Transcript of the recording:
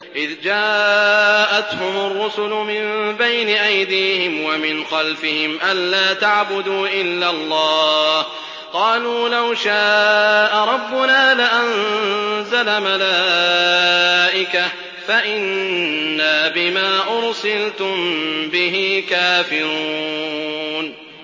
إِذْ جَاءَتْهُمُ الرُّسُلُ مِن بَيْنِ أَيْدِيهِمْ وَمِنْ خَلْفِهِمْ أَلَّا تَعْبُدُوا إِلَّا اللَّهَ ۖ قَالُوا لَوْ شَاءَ رَبُّنَا لَأَنزَلَ مَلَائِكَةً فَإِنَّا بِمَا أُرْسِلْتُم بِهِ كَافِرُونَ